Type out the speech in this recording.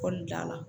Kɔlili da la